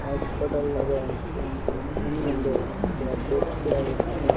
Hospital లాగా ఉంది ఎందుకంటే ఇక్కడ బెడ్ కూడా వేశారు.